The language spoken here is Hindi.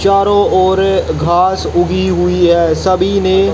चारो ओर घास उगी हुई है सभी ने--